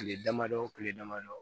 Kile damadɔ kile damadɔ